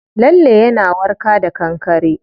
Lalle yana warka da kankare.